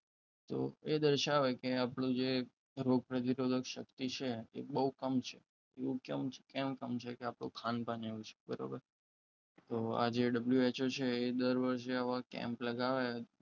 તો એ દર્શાવે કે આપણું જે રોગપ્રતિકારક શક્તિ છે આપણી બહુ કમ છે એવું કેમ સમજે કે આપણું ખાન પાન એવું છે બરાબર તો આજે WHO છે એ દર વર્ષે આવા camp લગાવે